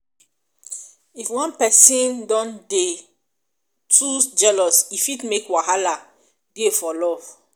if one person don dey de too jealous e fit make wahala dey for love